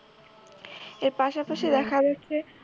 এর পাশাপাশি দেখা যাচ্ছে